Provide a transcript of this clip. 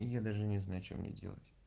я даже не знаю что мне делать